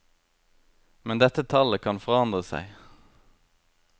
Men dette tallet kan forandre seg.